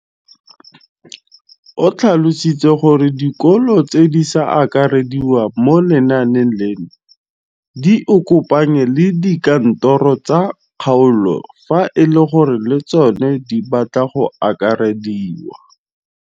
O tlhalositse gore dikolo tse di sa akarediwang mo lenaaneng leno di ikopanye le dikantoro tsa kgaolo fa e le gore le tsona di batla go akarediwa.